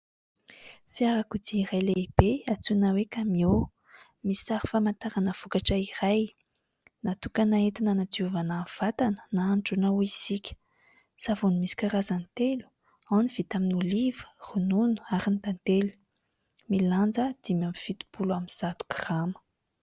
Fiarakodia iray lehibe antsoina hoe "camion", misy sary famantarana vokatra iray natokana entina hanadiovana vatana na androana hoy isika, savony misy karazany telo : ao ny vita amin'ny oliva, ronono ary ny tantely, milanja dimy amby fitopolo amby zato grama.